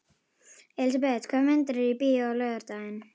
Elisabeth, hvaða myndir eru í bíó á laugardaginn?